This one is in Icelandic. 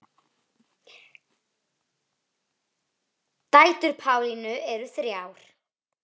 Dætur Pálínu eru þrjár.